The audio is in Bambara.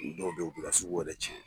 U dɔw bɛ yen u b'i ka sugu wɛrɛ tiɲɛ